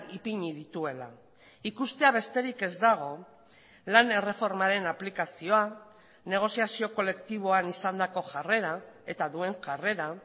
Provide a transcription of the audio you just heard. ipini dituela ikustea besterik ez dago lan erreformaren aplikazioa negoziazio kolektiboan izandako jarrera eta duen jarrera